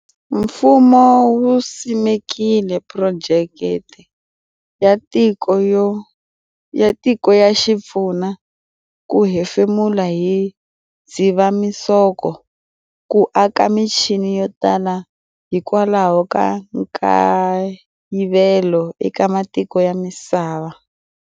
Mfumo wu simekile Phurojeke ya Tiko ya Xipfuna ku hefemula hi Dzivamisoko, ku aka michini yo tala hikwalaho ka nkayivelo eka matiko ya misava.